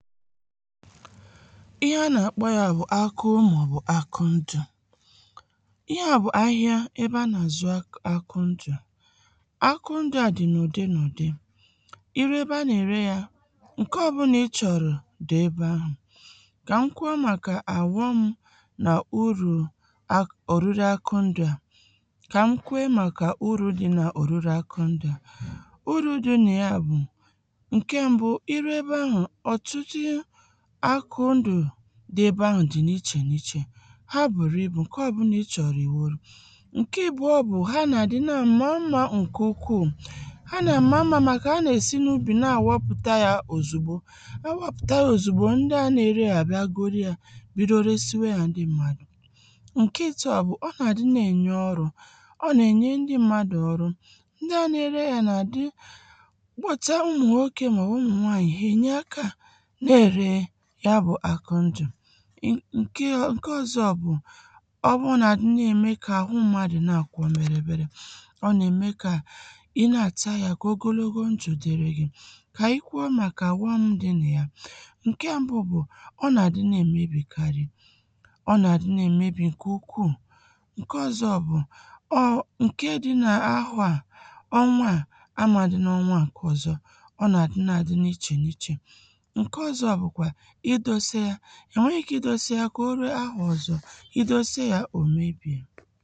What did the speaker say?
ihe a nà-akpọ ya bgụ̀ akụ mà bụ̀ akondù ihe à bụ̀ ahịa ebe a nà-àzụ akondù akondù a dị̀ n’ụdị n’ụ̀dị i ruo ebe a nà-ère ya ǹke ọbụlà ị chọ̀rọ̀ dị̀ ebe ahụ̀ kà m kwuo màkà àwụọ m nà urù oruru akondù a kà m kwuo màkà uru̇ dị̇ nà òrùrù akondù a uru̇ dị̇ nà ya bụ̀ ǹke mbụ̇ dị bụ ahụ dị n’ichè n’ichè ha buru ibù ǹkẹ ọbụna ị chọ̀rọ̀ i nworo ǹkẹ ìbụọ bụ̀ ha nà-adị nà mmȧ mma ǹkẹ̀ ukwuu ha nà-amma mma maka a nà-esi n’ubì na-awoputa ya ozugbo awoputa ya ozugbo ndị a na-ere ya abịa goro ya bido resiwe ya ndị mmadụ̀ ǹkẹ̀ itȯ bụ̀ ọ nà-adị na-enye ọrụ̇ ọ nà-enye ndị mmadụ̀ ọrụ ndị a na-ere ya nà-adị kpọta ụmụ̀ nwoke mà ụmụ̀ nwaanyị̀ ha enye aka ǹkè ọ̀zọ bụ̀ ọ bụrụ nà adị̀ nà-ème kà àhụ mmadụ̀ na-àkwọ mèrè mèrè ọ nà-ème kà i nà-àta ya kà ogologo njụ̀ dịrị gị kà anyị kwuo màkà warum dị nà ya ǹkè mbụ bụ̀ ọ nà-àdị na-èmebìkarị ọ nà-àdị na-èmebì ǹkè ukwuù ǹkè ọ̀zọ bụ̀ ọ ǹkè dị̀ n’ahụ̀ a ọnwa a amàdị̀ n’ọnwa ǹkè ọ̀zọ ọ nà-àdị na-àdị n’ichè n’ichè e nwere ike idose ya kà oru ahùọzọ̀ idose ya òmebi̇